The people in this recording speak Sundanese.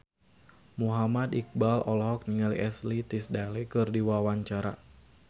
Muhammad Iqbal olohok ningali Ashley Tisdale keur diwawancara